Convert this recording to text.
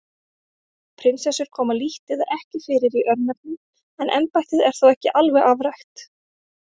Prinsessur koma lítt eða ekki fyrir í örnefnum en embættið er þó ekki alveg afrækt.